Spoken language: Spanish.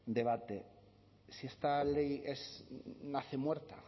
debate si esta ley nace muerta